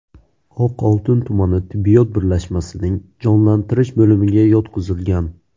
Oqoltin tumani tibbiyot birlashmasining jonlantirish bo‘limiga yotqizilgan.